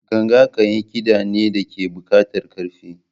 Ganga kayan kida ne da ke buƙatar ƙarfi.